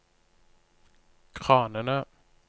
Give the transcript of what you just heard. kranene